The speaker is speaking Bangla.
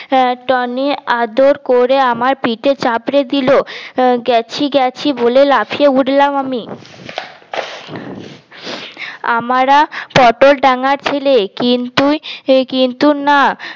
হ্যা টনি আদর করে আমার পিঠে চাপড়ে দিল গেছি গেছি বলে লাফিয়ে উঠলাম আমি আমরা পটল ডাঙ্গার ছেলে কিন্তু কিন্তু না